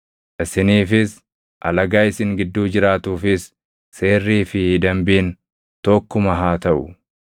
Isiniifis alagaa isin gidduu jiraatuufis seerrii fi dambiin tokkuma haa taʼu.’ ”